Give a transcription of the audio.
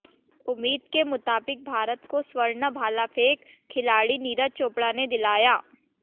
उम्मीद के मुताबिक भारत को स्वर्ण भाला फेंक खिलाड़ी नीरज चोपड़ा ने दिलाया